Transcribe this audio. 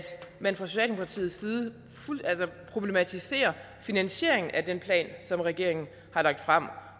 man fra socialdemokratiets side problematiserer finansieringen af den plan som regeringen har lagt frem